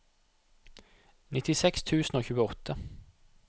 nittiseks tusen og tjueåtte